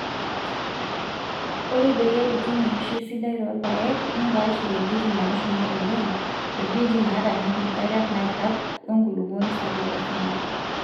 Ore peyie itum eishioi sidai toorpaek nipaash ing'wejitin naashuma oleng',ng'wejitin naataniki nkariak naairag wenkulupuoni sapuk osinyai.